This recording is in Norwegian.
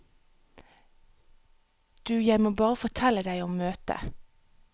Du jeg må bare fortelle deg om møtet.